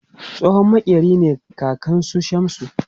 Tsohon maƙeri ne kakan su Shamsu